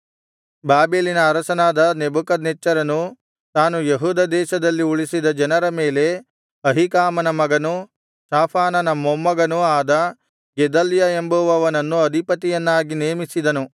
ಬಾಬೆಲಿನ ಅರಸನಾದ ನೆಬೂಕದ್ನೆಚ್ಚರನು ತಾನು ಯೆಹೂದ ದೇಶದಲ್ಲಿ ಉಳಿಸಿದ ಜನರ ಮೇಲೆ ಅಹೀಕಾಮನ ಮಗನೂ ಶಾಫಾನನ ಮೊಮ್ಮಗನೂ ಆದ ಗೆದಲ್ಯ ಎಂಬುವನನ್ನು ಅಧಿಪತಿಯನ್ನಾಗಿ ನೇಮಿಸಿದನು